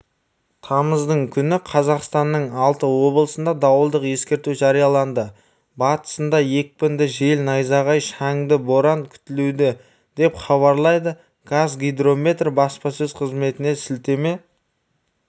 тамыздың күні қазақстанның алты облысына дауылдық ескерту жарияланды батысында екпінді жел найзағай шаңды боран күтіледі деп хабарлайды қазгидромет баспасөз қызметіне сілтеме